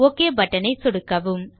okay button ஐ சொடுக்கவும்